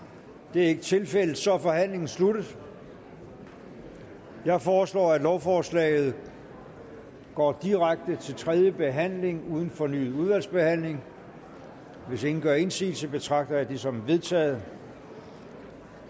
det er ikke tilfældet og så er forhandlingen sluttet jeg foreslår at lovforslaget går direkte til tredje behandling uden fornyet udvalgsbehandling hvis ingen gør indsigelse betragter jeg dette som vedtaget